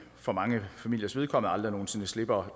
for mange familiers vedkommende aldrig nogen sinde slipper